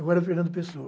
Agora, Fernando Pessoa.